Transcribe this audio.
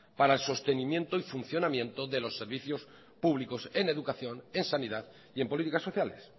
para el sostenimiento y funcionamiento de los servicios públicos en educación en sanidad y en políticas sociales